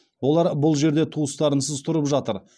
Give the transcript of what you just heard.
олар бұл жерде туыстарынсыз тұрып жатыр